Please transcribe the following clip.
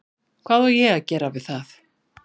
Hvað á ég að gera við það?